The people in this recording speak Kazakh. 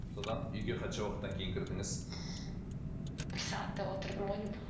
содан үйге қанша уақыттан кейін кірдіңіз бір сағаттай отырдым ғой деймін